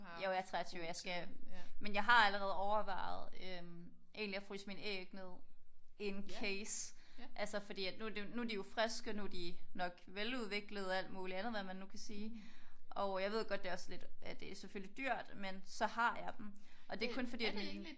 Jo jeg er 23 jeg skal men jeg har allerede overvejet øh egentlig at fryse mine æg ned in case altså fordi nu er de jo friske. Nu er de er nok veludviklede og alt muligt andet hvad man nu kan sige. Og jeg ved godt det er også lidt at det er selvfølgeligt dyrt men så har jeg dem. Og det er kun fordi